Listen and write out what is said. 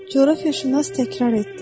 Coğrafiyaşünas təkrar etdi.